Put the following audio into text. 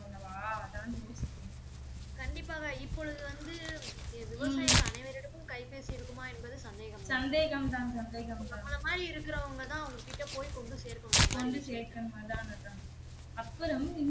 கண்டிப்பாக இப்பொழுது வந்து விவசாயி அனைவரிடமும் கைபேசி இருக்குமா என்பது சந்தேகம் தான் நம்பல மாறி இருக்குறவங்க தான் அவங்க கிட்ட போய் கொண்டு சேர்க்கனும் இந்த மாறி